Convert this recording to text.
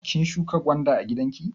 Kin shuƙa gwanda a gidanki?